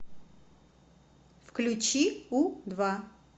включи у два